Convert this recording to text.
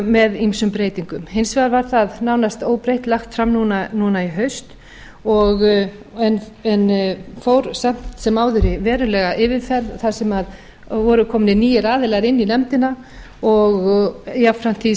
með ýmsum breytingum hins vegar var það nánast óbreytt lagt fram núna í haust en fór samt sem áður í verulega yfirferð þar sem voru komnir nýir aðilar inn í nefndina og jafnframt því